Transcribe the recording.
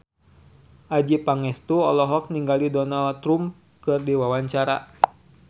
Adjie Pangestu olohok ningali Donald Trump keur diwawancara